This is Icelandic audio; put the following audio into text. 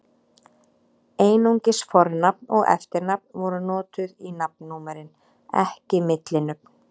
Einungis fornafn og eftirnafn voru notuð í nafnnúmerin, ekki millinöfn.